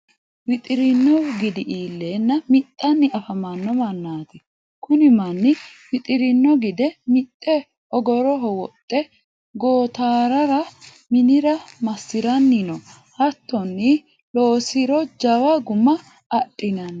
wixirino gidi iilenna mixxanni afamanno mannati. kuni manni wixirino gide mixxe ogoroho woxxe gootarara minira massiranni no. hatonni loonsiro jawa guma adhinanni.